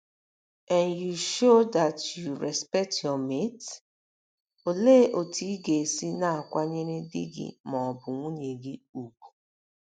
n you show that you respect your mate? Olee otú ị ga - esi na - akwanyere di gị ma ọ bụ nwunye gị ùgwù?